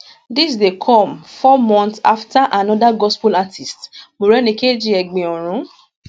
dis dey come four months afta anoda gospel artiste morenikeji egbin orun